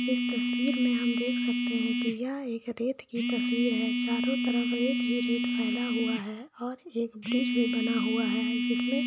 इस तस्वीर में हम देख सकते है की यह एक रेत की तस्वीर चारो तरफ रेत ही रेत फेला हुआ है और एक ब्रिज भी बना है हुआ है जिसमें--